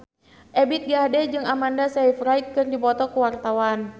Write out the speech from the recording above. Ebith G. Ade jeung Amanda Sayfried keur dipoto ku wartawan